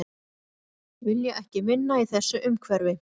Vilja ekki vinna í þessu umhverfi